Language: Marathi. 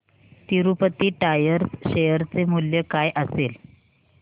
तिरूपती टायर्स शेअर चे मूल्य काय असेल